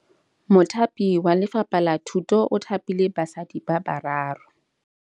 Mothapi wa Lefapha la Thutô o thapile basadi ba ba raro.